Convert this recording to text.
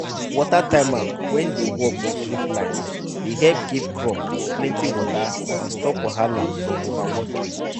water timer wey dey work with drip line de help give crop plenty water and stop wahala from overwatering